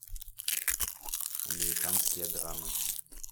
американские драмы